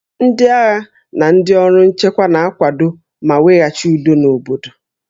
Ndị agha na ndị ọrụ nchekwa na-akwado ma weghachi udo n'obodo